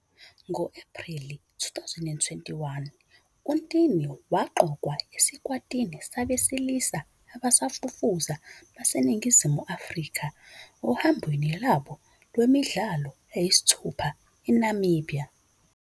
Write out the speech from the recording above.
Ngo-Ephreli 2021, uNtini waqokwa esikwatini sabesilisa abasafufusa baseNingizimu Afrika ohambweni lwabo lwemidlalo eyisithupha eNamibia.